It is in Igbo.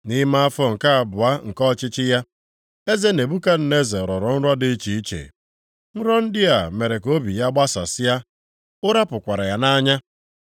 Nʼime afọ nke abụọ nke ọchịchị ya, eze Nebukadneza rọrọ nrọ dị iche iche. Nrọ ndị a mere ka obi ya gbasasịa, ụra pụkwara ya nʼanya.